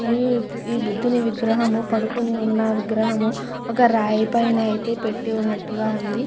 మరి నీ బుద్ధుని విగ్రహము పడుకొని ఉన్నట్టుగను ఒక రాయి పైన ఒక రాయి పైన అయితే పెట్టి ఉన్నట్టుగా ఉంది.